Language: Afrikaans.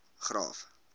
graaff